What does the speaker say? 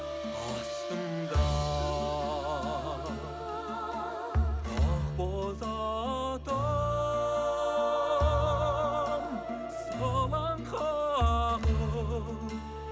астымда ақ боз атым сылаң қағып